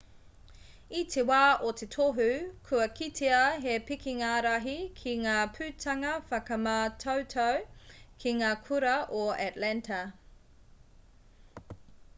i te wā o te tohu kua kitea he pikinga rahi ki ngā putanga whakamātautau ki ngā kura o atlanta